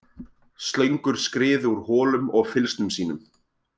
Slöngur skriðu úr holum og fylgsnum sínum.